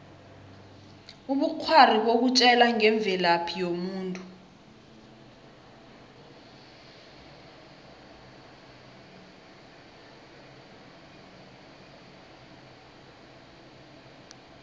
ubukghwari bukutjela ngemvelaphi yomuntu